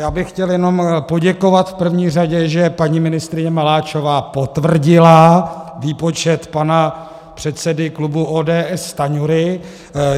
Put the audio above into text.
Já bych chtěl jenom poděkovat v první řadě, že paní ministryně Maláčová potvrdila výpočet pana předsedy klubu ODS Stanjury.